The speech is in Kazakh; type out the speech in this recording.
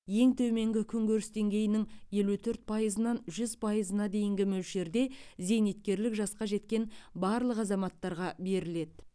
ең төменгі күнкөріс деңгейінің елу төрт пайызынан жүз пайызына дейінгі мөлшерде зейнеткерлік жасқа жеткен барлық азаматтарға беріледі